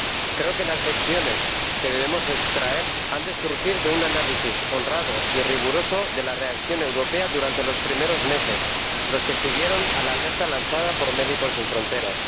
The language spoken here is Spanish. Creo que las lecciones que debemos extraer han de surgir de un análisis honrado y riguroso de la reacción europea durante los primeros meses, los que siguieron a la alerta lanzada por Médicos Sin Fronteras.